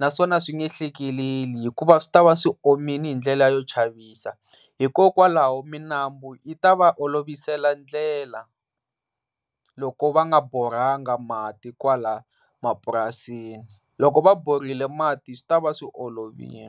naswona a swi nge hlekeleli hikuva swi tava swi omile hi ndlela yo chavisa, hikokwalaho minambu yi ta va olovisela ndlela loko va nga boranga mati kwala mapurasini loko va borile mati swi tava swi olovile.